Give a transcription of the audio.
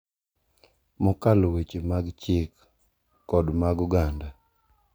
Mokalo weche mag chik kod mag oganda